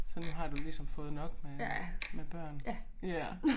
Så nu har du ligesom fået nok med med børn ja